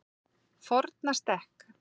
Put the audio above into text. Fornastekk